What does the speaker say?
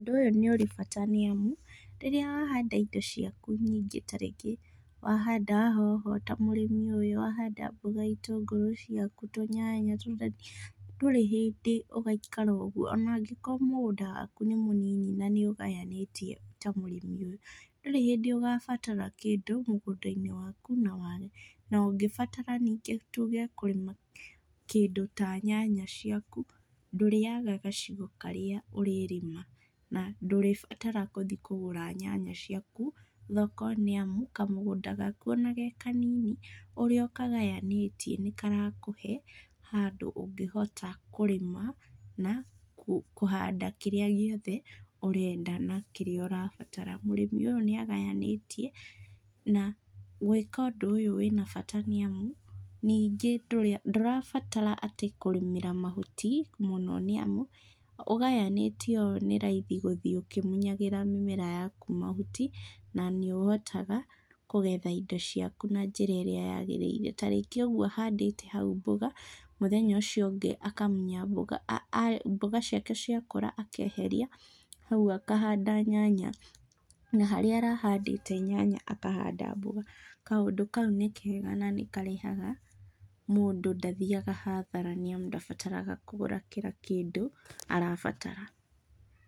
Ũndũ ũyũ nĩũrĩ bata nĩamu, rĩrĩa wahanda indo ciaku nyingĩ ta rĩngĩ wahanda hoho ta mũrĩmi ũyũ, wahanda mboga, itũngũrũ ciaku, tũnyanya, tũdania, ndũrĩ hĩndĩ ũgaikara ũguo. Ona angĩkorwo mũgũnda waku nĩ mũnini na nĩũgayanĩtie ta mũrĩmi ũyũ, ndũrĩ hĩndĩ ũgabatara kĩndũ mũgũnda-inĩ waku na wage. Na, ũngĩbatara ningĩ tuge kũrĩma kĩndũ ta nyanya ciaku, ndũrĩaga gacigo karĩa ũrĩrĩma na ndũrĩbatara gũthiĩ kũgũra nyanya ciaku thoko nĩamu, kamũgũnda gaku ona ge kanini, ũrĩa ũkagayanĩtie nĩkarakũhe handũ ũngĩhota kũrĩma na kũhanda kĩrĩa gĩothe ũrĩenda na kĩrĩa ũrabatara. Mũrĩmi ũyũ nĩagayanĩtie, na gwĩka ũndũ ũyũ wĩna bata nĩamu, ningĩ ndũrabatara atĩ kũrĩmĩra mahuti mũno nĩamu, ũgayanĩtie ũũ nĩraithi gũthiĩ ũkĩmunyagĩra mĩmera yaku mahuti na nĩũhotaga kũgetha indo ciaku na njĩra ĩrĩa yagĩrĩire. Ta rĩngĩ ũguo ahandĩte hau ũguo mboga, mũthenya ũcio ũngĩ akamunya mboga, mboga ciake ciakũra akeheria hau akahanda nyanya, na harĩa arahandĩte nyanya akahanda mboga. Kaũndũ kau nĩ kega na nĩkarehaga mũndũ ndathiaga hathara nĩamu ndabataraga kũgũra kila kĩndũ arabatara.